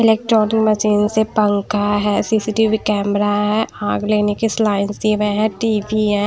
Electronic machine से पंखा है सी_सी_टी_वी कैमरा है लेने केस लाइनस दिए हुए हैं टी_वी है।